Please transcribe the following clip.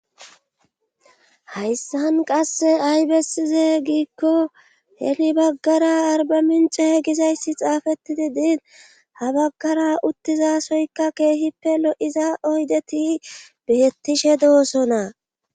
hayssan qasse ay bessize giikko heni baggara arba mince hea gizayssi xaafettidi diin ha baggara uttizasoyka keehippe lo7iza oydeti beettishe doosona